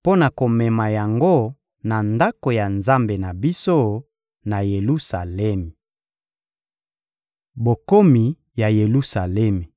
mpo na komema yango na Ndako ya Nzambe na biso, na Yelusalemi. Bokomi na Yelusalemi